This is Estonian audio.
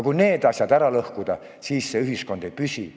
Kui need asjad ära lõhkuda, siis see ühiskond ei püsi.